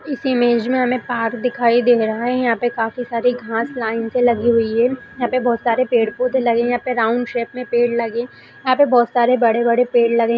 इस इमेज में हमें पार्क दिखाई दे रहा है यहाँ पे काफी सारी घास लाइन से लगी हुई है यहाँ पे बहुत सारे पेड़ पौधे लगे है यहाँ पर राउंड शेप में पेड़ लगे यहाँ पे बहुत सारे बड़े-बड़े पेड़ लगे --